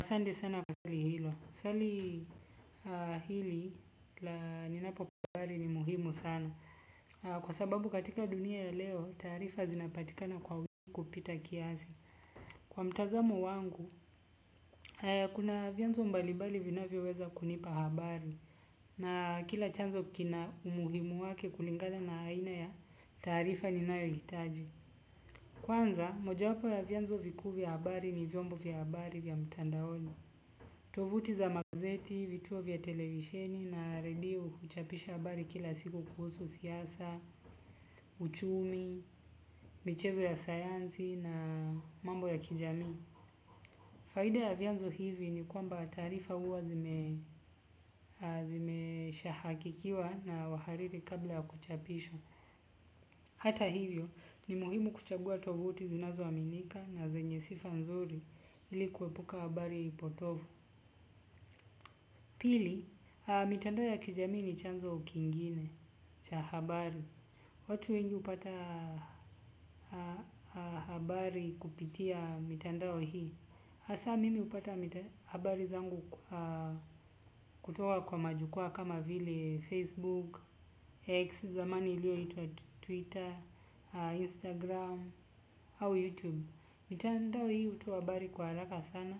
Asanti sana kwa swali hilo. Swali hili la ninapo pahari ni muhimu sana. Kwa sababu katika dunia ya leo, taarifa zinapatika na kwa wiki kupita kiasi. Kwa mtazamo wangu, haya kuna vianzo mbalimbali vinavyoweza kunipa habari. Na kila chanzo kina umuhimu wake kulingana na aina ya taarifa ninayohitaji. Kwanza, moja wapo ya vyanzo vikuu vya habari ni vyombo vya habari vya mtandaoni. Tovuti za magazeti, vituo vya televisheni na redio huchapisha habari kila siku kuhusu siasa, uchumi, michezo ya sayansi na mambo ya kijamii. Faida ya vyanzo hivi ni kwamba taarifa huwa zimeshahakikiwa na wahariri kabla ya kuchapishwa. Hata hivyo ni muhimu kuchagua tovuti zinazoaminika na zenye sifa nzuri ili kuepuka habari potovu. Pili, mitandao ya kijamii ni chanzo kingine cha habari. Watu wengi upata habari kupitia mitandao hii hasa mimi hupata habari zangu kutoka kwa majukwaa kama vile facebook, x zamani ilioyoitwa twitter, instagram au youtube. Mitandao hii hutoa habari kwa haraka sana.